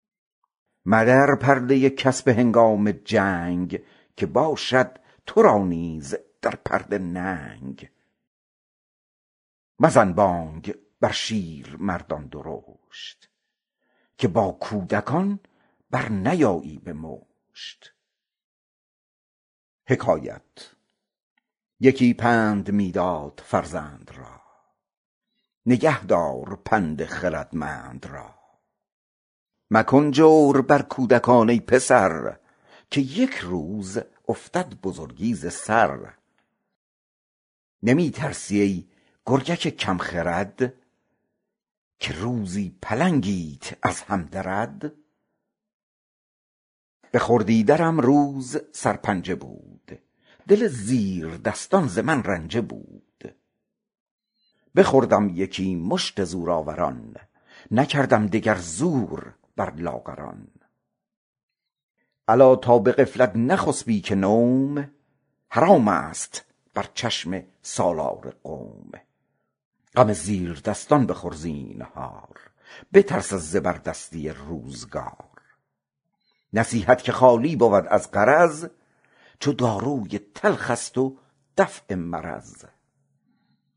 مدر پرده کس به هنگام جنگ که باشد تو را نیز در پرده ننگ مزن بانگ بر شیرمردان درشت چو با کودکان برنیایی به مشت یکی پند می داد فرزند را نگه دار پند خردمند را مکن جور بر خردکان ای پسر که یک روزت افتد بزرگی به سر نمی ترسی ای گرگک کم خرد که روزی پلنگیت بر هم درد به خردی درم زور سرپنجه بود دل زیردستان ز من رنجه بود بخوردم یکی مشت زورآوران نکردم دگر زور بر لاغران الا تا به غفلت نخفتی که نوم حرام است بر چشم سالار قوم غم زیردستان بخور زینهار بترس از زبردستی روزگار نصیحت که خالی بود از غرض چو داروی تلخ است دفع مرض